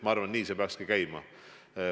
Ma arvan, et nii see peaks käima.